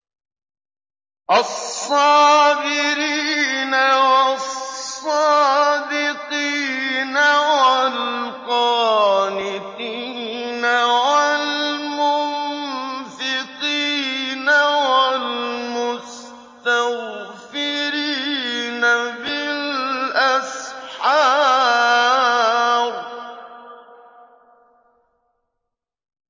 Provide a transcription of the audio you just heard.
الصَّابِرِينَ وَالصَّادِقِينَ وَالْقَانِتِينَ وَالْمُنفِقِينَ وَالْمُسْتَغْفِرِينَ بِالْأَسْحَارِ